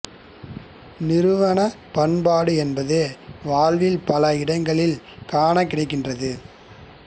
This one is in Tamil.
நிறுவனப் பண்பாடு என்பது வாழ்வில் பல இடங்களில் காணக் கிடைக்கின்றது